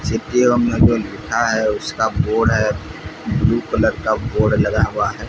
लिखा है उसका बोर्ड है ब्लू कलर का बोर्ड लगा हुआ है।